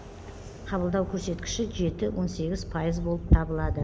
қабылдау көрсеткіші жеті он сегіз пайыз болып табылады